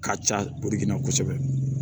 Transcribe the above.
Ka ca